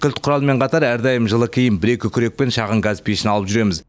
кілт құралмен қатар әрдайым жылы киім бір екі күрек пен шағын газ пешін алып жүреміз